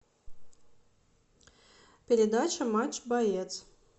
передача матч боец